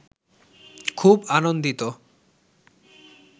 খুব আনন্দিত